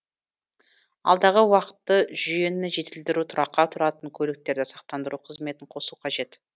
алдағы уақытты жүйені жетілдіру тұраққа тұратын көліктерді сақтандыру қызметін қосу қажет